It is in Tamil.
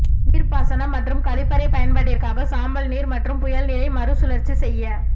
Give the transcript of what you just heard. நீர்ப்பாசனம் மற்றும் கழிப்பறை பயன்பாட்டிற்காக சாம்பல் நீர் மற்றும் புயல் நீரை மறுசுழற்சி செய்ய